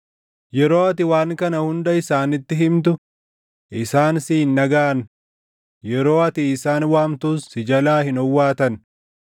“Yeroo ati waan kana hunda isaanitti himtu isaan si hin dhagaʼan; yeroo ati isaan waamtus si jalaa hin owwaatan.